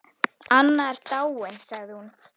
Anna er dáin sagði hún.